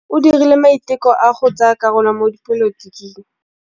O dirile maitekô a go tsaya karolo mo dipolotiking.